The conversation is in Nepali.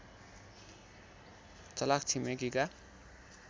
चलाख छिमेकीका